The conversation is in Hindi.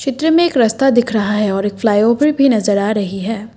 चित्र में एक रास्ता दिख रहा है और एक फ्लाईओवर भी नजर आ रही है।